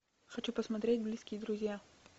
хочу посмотреть близкие друзья